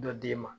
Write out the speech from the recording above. Dɔ d'e ma